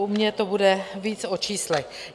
U mě to bude více o číslech.